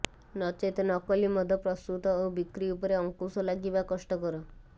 ନଚେତ୍ ନକଲି ମଦ ପ୍ରସ୍ତୁତ ଓ ବିକ୍ରି ଉପରେ ଅଂକୁଶ ଲାଗିବା କଷ୍ଟକର